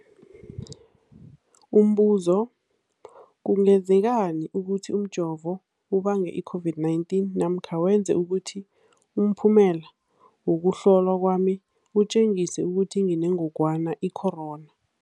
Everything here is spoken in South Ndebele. Umbuzo, kungenzekana ukuthi umjovo ubange i-COVID-19 namkha wenze ukuthi umphumela wokuhlolwa kwami utjengise ukuthi nginengogwana i-corona?